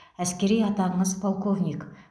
әскери атағыңыз полковник